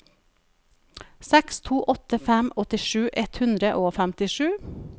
seks to åtte fem åttisju ett hundre og femtisju